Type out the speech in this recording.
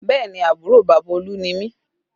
Bẹẹ ni, àbúrò bàbá Olú ni mi